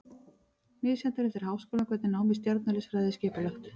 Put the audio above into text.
Misjafnt er eftir háskólum hvernig nám í stjarneðlisfræði er skipulagt.